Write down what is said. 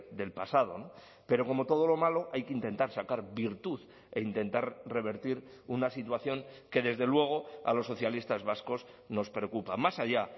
del pasado pero como todo lo malo hay que intentar sacar virtud e intentar revertir una situación que desde luego a los socialistas vascos nos preocupa más allá